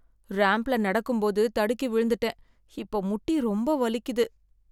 ராம்ப்ல நடக்கும்போது தடுக்கி விழுந்துட்டேன், இப்ப முட்டி ரொம்ப வலிக்குது.